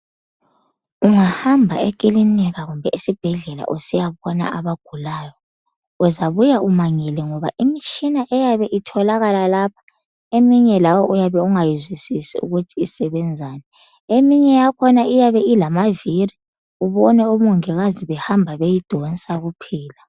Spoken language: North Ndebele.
Ungahamba ekilinika kumbe esibhedlela usiyabona abagulayo, uzabuya umangele ngoba imitshina eyabe itholakala lapho eminye lawe uyabe ungayizwisisi ukuthi isebenzani, eminye yakhona iyabe ilamaviri ubone omongikazi behamba beyidonsa kuphela.